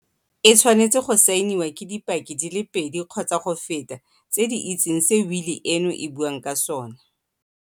E tshwanetse go saeniwa ke dipaki di le pedi kgotsa go feta tse di itseng se wili eno e buang ka sona.